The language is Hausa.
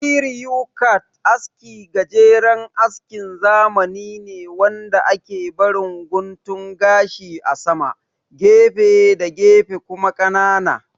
Kiriyu kat aski gajeren askin zamani ne wanda ake barin guntun gashi a sama, gefe da gefe kuma ƙanana